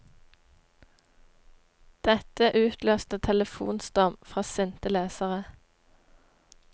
Dette utløste telefonstorm fra sinte lesere.